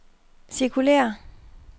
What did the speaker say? cirkulér